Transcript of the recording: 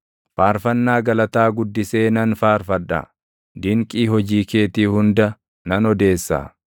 Faarfannaa galataa guddisee nan faarfadha; dinqii hojii keetii hunda nan odeessa.